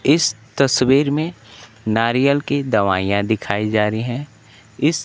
इस तस्वीर में नारियल की दवाइयां दिखाई जा रही हैं इस--